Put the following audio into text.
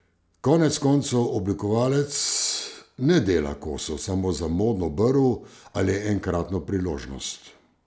Konec koncev oblikovalec ne dela kosov samo za modno brv ali enkratno priložnost.